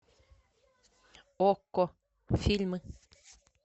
окко фильмы